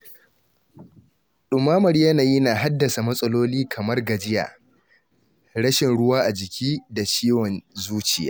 Ɗumamar yanayi na haddasa matsaloli kamar gajiya, rashin ruwa a jiki da ciwon zuciya.